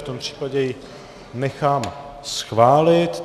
V tom případě ji nechám schválit.